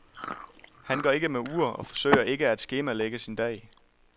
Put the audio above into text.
Han går ikke med ur og forsøger ikke at skemalægge sin dag.